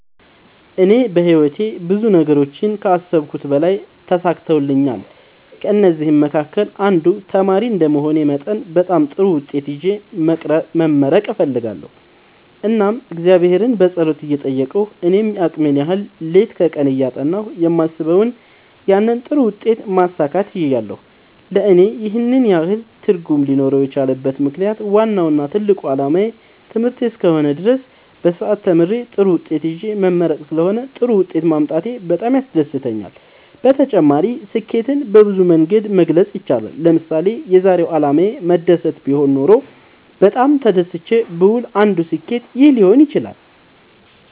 እኔ በህይወቴ ብዙ ነገሮችን ከአሰብሁት በላይ ተሳክተውልኛል ከእነዚህም መካከል አንዱ ተማሪ እንደመሆኔ መጠን በጣም ጥሩ ውጤት ይዤ መመረቅ እፈልጋለሁ እናም እግዚአብሔርን በጸሎት እየጠየቅሁ እኔም የአቅሜን ያህል ሌት ከቀን እያጠናሁ የማስበውን ያንን ጥሩ ውጤት ማሳካት ችያለሁ ለእኔ ይህን ያህል ትርጉም ሊኖረው የቻለበት ምክንያት ዋናው እና ትልቁ አላማዬ ትምህርት እስከ ሆነ ድረስ በስርአት ተምሬ ጥሩ ውጤት ይዤ መመረቅ ስለሆነ ጥሩ ውጤት ማምጣቴ በጣም ያስደስተኛል። በተጨማሪ ስኬትን በብዙ መንገድ መግለፅ ይቻላል ለምሳሌ የዛሬው አላማዬ መደሰት ቢሆን ኖሮ በጣም ተደስቼ ብውል አንዱ ስኬት ይህ ሊሆን ይችላል